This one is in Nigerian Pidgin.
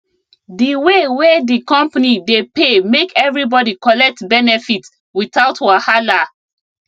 di way wey di company dey pay make everybody collect benefit without wahala